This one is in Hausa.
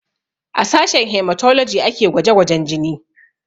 A sashen hematology ake gwaje gwajen jini